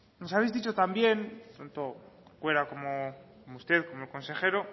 nos habéis dicho también tanto corcuera como usted como el consejero